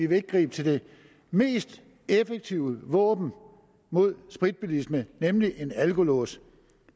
vil gribe til det mest effektive våben mod spritbilisme nemlig en alkolås